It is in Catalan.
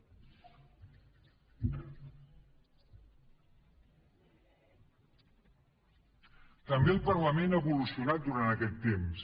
també el parlament ha evolucionat durant aquest temps